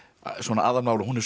aðalmál og hún er svo